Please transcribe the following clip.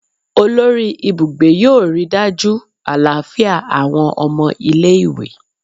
Olori ibugbe yoo rii daju alafia awọn ọmọ ile-iwe